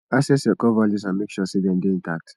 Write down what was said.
access your core values and make sure sey dem dey intact